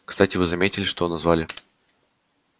кстати вы заметили что назвали